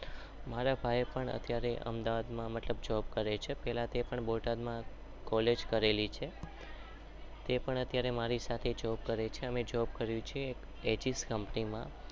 મારા ભાઈ પણ મતલબ અમદાવાદ માં